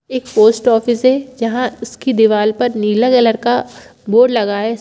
एक post office है जहां उसकी दीवाल पर नीला कलर का बोर्ड लगा है।